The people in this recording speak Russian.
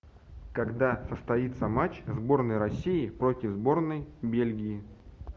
когда состоится матч сборной россии против сборной бельгии